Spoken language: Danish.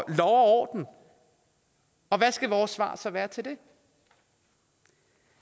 orden og hvad skal vores svar så være til det